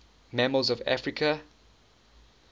mammals of africa